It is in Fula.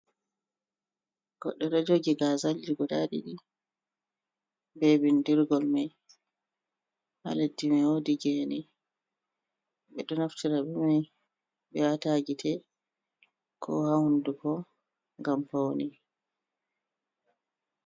Goɗɗo do jogi gazalji duda ɗidi, be bindirgol mai haladdi man wodi gene be do naftira be mai be wataha gite ko ha hunduko gam paune.